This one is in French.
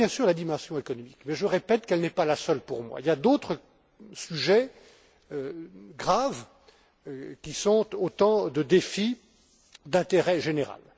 Il y a bien sûr la dimension économique, mais je répète qu'elle n'est pas la seule pour moi. Il y a d'autres sujets, graves, qui sont autant de défis d'intérêt général.